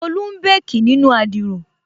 Tolú n békì nínu adiro